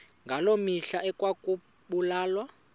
ngaloo mihla ekwakubulawa